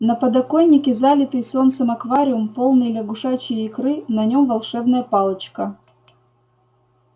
на подоконнике залитый солнцем аквариум полный лягушачьей икры на нём волшебная палочка